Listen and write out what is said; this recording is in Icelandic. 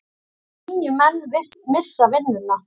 Níu menn missa vinnuna.